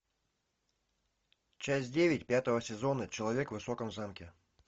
часть девять пятого сезона человек в высоком замке